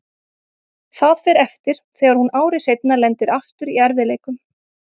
Það fer eftir þegar hún ári seinna lendir aftur í erfiðleikum.